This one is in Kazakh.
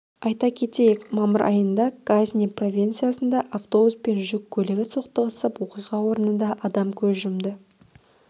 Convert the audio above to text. айта кетейік мамыр айында газни провинциясында автобус пен жүк көлігі соқтығысып оқиға орнында адам көз жұмды